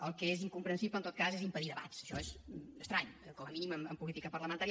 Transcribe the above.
el que és incomprensible en tot cas és impedir debats això és estrany eh com a mínim en política parlamentària